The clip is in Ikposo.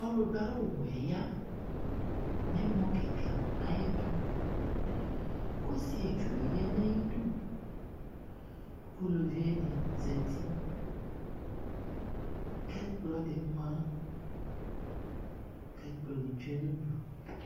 Ɔludu awuwɛ ya nʋ ɛmɔ kika ayʋ ɩdʋ, kʋ ɔsietsu ya nʋ ayidu, kʋ uluvi ɛdɩ zǝtikʋ ɛkplɔ di ma, kʋ ɛkplɔ ni tsue nʋ udu